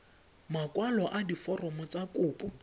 makwalo a diforomo tsa kopo